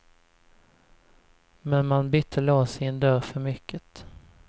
Men man bytte lås i en dörr för mycket.